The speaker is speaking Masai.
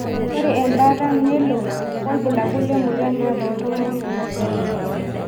Ore embata nelo wobulabul lemoyian nata oltungani.